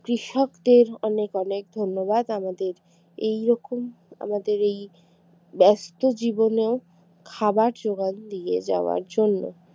কৃষকদের অনেক অনেক ধন্যবাদ আমাদের এই রকম আমাদের এই ব্যস্ত জীবনেও খাবার যোগান দিয়ে যাওয়ার জন্য